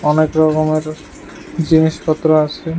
অনেক রকমের জিনিসপত্র আছে।